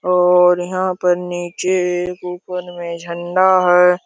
और यहां पर नीचे ऊपर मे झरना है।